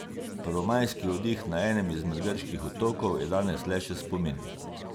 Prvomajski oddih na enem izmed grških otokov je danes le še spomin.